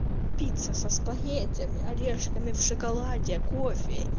пицца со спагеттями орешками в шоколаде кофе